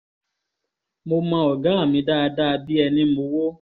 mo mọ ọ̀gá mi dáadáa bíi ẹni mowó